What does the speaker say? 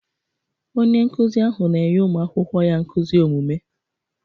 Onye nkụzi ahụ na-enye ụmụ akwụkwọ ya nkuzi omume.